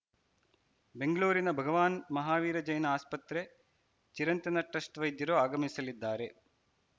ಬೆಂಗಳೂರಿನ ಭಗವಾನ್‌ ಮಹಾವೀರ್‌ಜೈನ್‌ ಆಸ್ಪತ್ರೆ ಚಿರಂತನ ಟ್ರಸ್ಟ್‌ ವೈದ್ಯರು ಆಗಮಿಸಲಿದ್ದಾರೆ